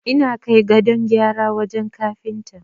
Ina kai gadon gyara wajen Kafinta.